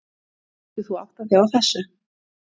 Getur þú áttað þig á þessu?